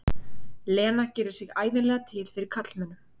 Lena gerir sig ævinlega til fyrir karlmönnum.